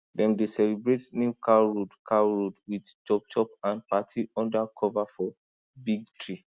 dem dey celebrate new cow road cow road with chopchop and party under cover for big tree